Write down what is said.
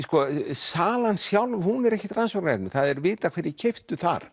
salan sjálf hún er ekkert rannsóknarefni það er vitað hverjir keyptu þar